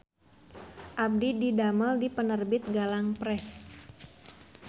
Abdi didamel di Penerbit Galang Press